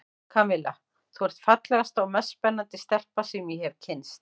Kamilla, þú ert fallegasta og mest spennandi stelpa sem ég hef kynnst.